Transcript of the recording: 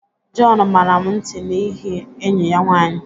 John, mara m nti n'ihi enyi ya nwanyị